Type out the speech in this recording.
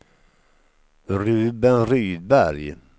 Ruben Rydberg